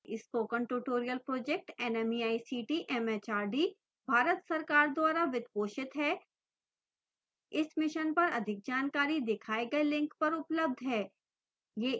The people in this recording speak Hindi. spoken tutorial project nmeict mhrd Bharat सरकार द्वारा वित्त पोषित है इस मिशन पर अधिक जानकारी दिखाए गए लिंक पर उपलब्ध है